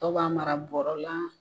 Dɔw b'a mara bɔrɔ la